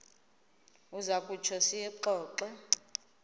uza kutsho siyixoxe